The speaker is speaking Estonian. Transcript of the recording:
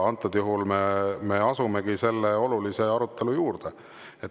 Antud juhul me asumegi selle olulise arutelu juurde.